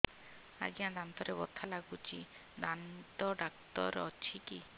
ଆଜ୍ଞା ଦାନ୍ତରେ ବଥା ଲାଗୁଚି ଦାନ୍ତ ଡାକ୍ତର ଅଛି କି